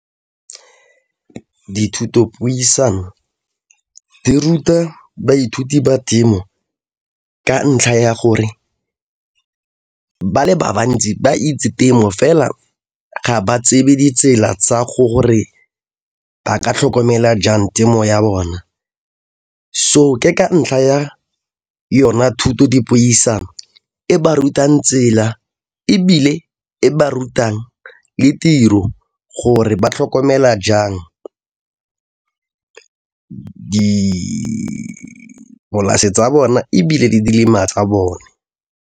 Dithutopuisano di ruta baithuti ba temo ka ntlha ya gore ba le ba bantsi ba itse temo fela ga ba tsebe ditsela tsa go gore ba ka tlhokomela jang temo ya bona so ke ka ntlha ya yona thutodipuisano e ba rutang tsela ebile e ba rutang le tiro gore ba tlhokomela jang dipolase tsa bone ebile tsa bone.